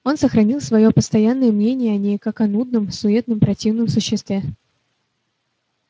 он сохранил своё постоянное мнение о ней как о нудном суетном противном существе